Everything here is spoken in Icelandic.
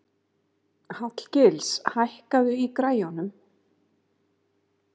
Hallgils, hækkaðu í græjunum.